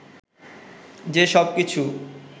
যে সব কিছু